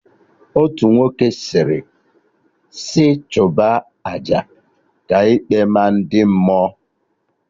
Otu nwoke sịrị sị chụba aja, ka ikpe maa ndị mmụọ